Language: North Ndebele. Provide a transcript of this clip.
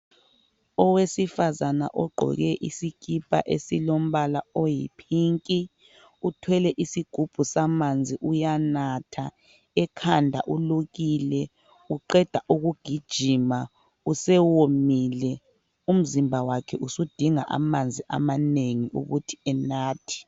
Owesifazane ogqoke isikipa esilombala oyi"pink",uthwele isigubhu samanzi uyanatha. Ekhanda ulukile. Uqeda ukugijima, usewomile. Umzimba wakhe usudinga amanzi amanengi ukuthi enathe.